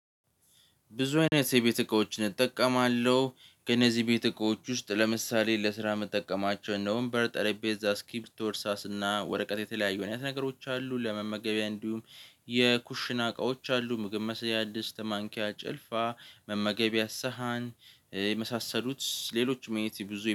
ብዙ አይነት የቤት እቃዎችን እጠቀማለሁ ከነዚህ የቤት እቃዎች ውስጥ ለምሳሌ ለስራ ምጠቀማቸው እንደ ውምበር ጠረጴዛ ስክሪብቶፕ እርሳስና ወረቀት የተለያዩ አይነት ነገሮች አሉ። ለመመገቢያ እንዲሁም የኩሽና እቃዎች አሉ። ምግብ መስሪያ ድስት ማንኪያ ጭልፋ መመገቢያ ሳህን የመሳሰሉት ሌሎችም የቤቴ ብዙ